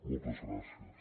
moltes gràcies